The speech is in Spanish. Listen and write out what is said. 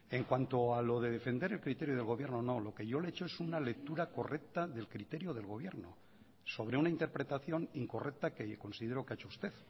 en cuanto a lo de defender el criterio del gobierno o no lo que yo le he hecho es una lectura correcta del criterio del gobierno sobre una interpretación incorrecta que considero que ha hecho usted